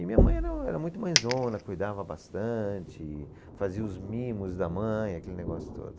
E minha mãe era, era muito mãezona, cuidava bastante, fazia os mimos da mãe, aquele negócio todo.